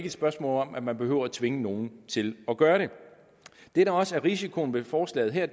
et spørgsmål om at man behøver at tvinge nogen til at gøre det det der også er risikoen ved forslaget her